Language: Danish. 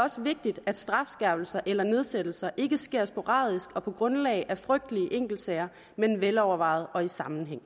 også vigtigt at strafskærpelser eller nedsættelser ikke sker sporadisk og på grundlag af frygtelige enkeltsager men velovervejet og i sammenhæng